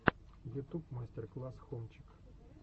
ютуб мастер класс хомчик